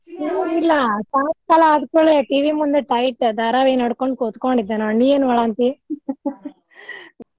ಏನೂ ಇಲ್ಲಾ ಸಾಯಂಕಾಲ ಆದ್ ಕೂಡ್ಲೇ TV ಮುಂದ tight ಧಾರಾವಾಹಿ ನೋಡ್ಕೊಂತ್ ಕೂತ್ ಕೊಂಡಿದ್ದೇ ನೋಡ್ ನೀ ಏನ್ ಮಾಡಾಕಂತಿ .